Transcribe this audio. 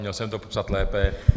Měl jsem to popsat lépe.